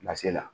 la